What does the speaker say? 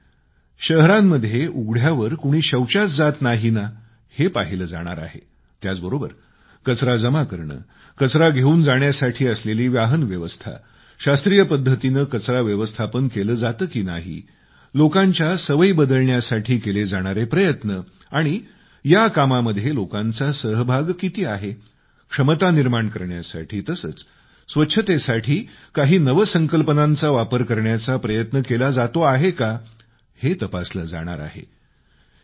यामध्ये शहरांमध्ये उघड्यावर शौचापासून मुक्ती त्याचबरोबर कचरा जमा करणे कचरा घेऊन जाण्यासाठी असलेली वाहन व्यवस्था शास्त्रीय पद्धतीने कचरा व्यवस्थापन केले जाते की नाही लोकांच्या सवयी बदलण्यासाठी केले जाणारे प्रयत्न या कामामध्ये लोकांचा सहभाग किती आहे क्षमता निर्माण करण्यासाठी तसेच स्वच्छतेसाठी काही नवसंकल्पनांचा वापर करण्याचा प्रयत्न केला जातो आहे का हे तपासले जाणार आहे